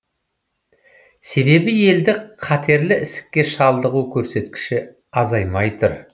себебі елде қатерлі ісікке шалдығу көрсеткіші азаймай тұр